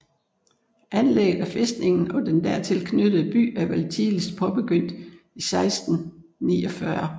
Anlægget af fæstningen og den dertil knyttede by er vel tidligst påbegyndt 1649